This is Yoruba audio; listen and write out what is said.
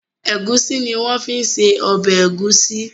Egusi ní wón fí se obè egusi.